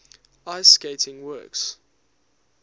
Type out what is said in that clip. ice skating works